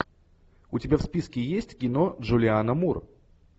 у тебя в списке есть кино джулианна мур